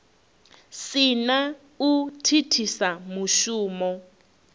si na u thithisa mushumo